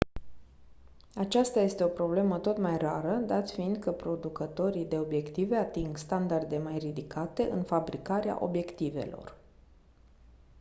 aceasta este o problemă tot mai rară dat fiind că producătorii de obiective ating standarde mai ridicate în fabricarea obiectivelor